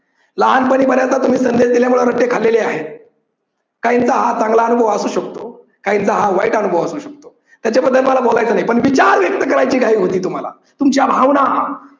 लहानपणी तुम्ही बऱ्याच संदेश दिल्यामुळे रट्टे खाल्लेले आहेत. काहींचा हा चांगला अनुभव असू शकतो, काहींचा वाईट अनुभव असू शकतो पण त्याबद्दल मला बोलायचं नाही पण विचार व्यक्त करायची घाई होती तुम्हाला तुमच्या भावना